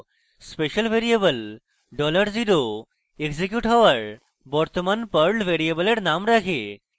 special variable dollar zero $0 execute হওযার বর্তমান perl program name রাখে